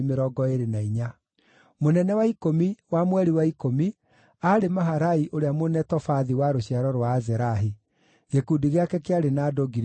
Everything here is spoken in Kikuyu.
Mũnene wa ikũmi, wa mweri wa ikũmi, aarĩ Maharai ũrĩa Mũnetofathi wa rũciaro rwa Azerahi. Gĩkundi gĩake kĩarĩ na andũ 24,000.